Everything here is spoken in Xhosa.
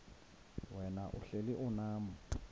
wena uhlel unam